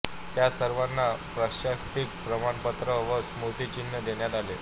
त्या सर्वांना प्रशस्ती प्रमाणपत्र व स्मृती चिन्ह देण्यात आले